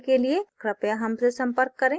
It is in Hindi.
अधिक जानकारी के लिए कृपया हमसे संपर्क करें